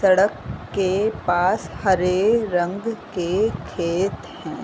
सड़क के पास हरे रंग के खेत हैं।